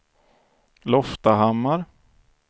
Loftahammar